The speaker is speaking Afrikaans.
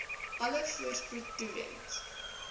alle voorspoed toewens